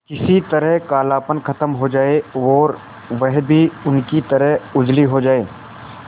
किसी तरह कालापन खत्म हो जाए और वह भी उनकी तरह उजली हो जाय